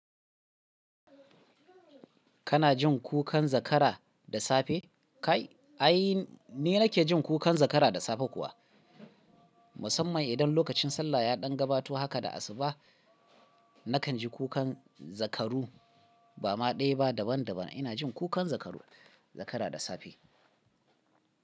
Kana jin kukan zakara da safe? Kai ai ni nake jin kukan zakara da safe kuwa, musamman idan lokacin sallah ya ɗan gabato haka da asuba, nakan ji kukan zakaru ba ma ɗaya ba daban daban. Ina jin kukan zakaru, zakara da safe.